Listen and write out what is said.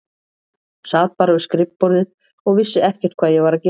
Sat bara við skrifborðið og vissi ekkert hvað ég var að gera.